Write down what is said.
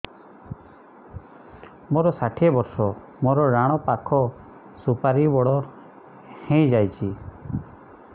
ମୋର ଷାଠିଏ ବର୍ଷ ମୋର ଡାହାଣ ପାଖ ସୁପାରୀ ବଡ ହୈ ଯାଇଛ